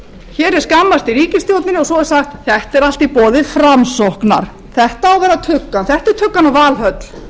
hér er skammast í ríkisstjórninni og svo er sagt þetta er allt í boði framsóknar þetta á að vera tuggan þetta er tuggan úr valhöll